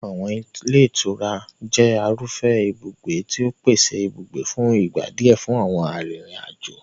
Àwọn ilé ìtura jẹ́ irúfẹ́ ibùgbé tí ó ń pèsè ibùgbé fún ìgbà díẹ̀ fún àwọn arìnrìn-àjò.